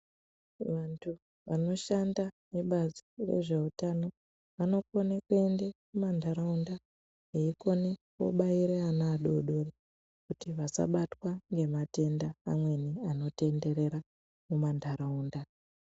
Vandu vanoshanda ngebazi rezveutano vanokona kuenda kumandaraunda veikona kundobaira vana vadodori kuti vasabatwa ngedenda amweni anptenderera mumandaraunda.